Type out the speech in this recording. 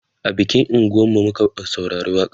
a bikin unguwan mu muka saurari waƙa n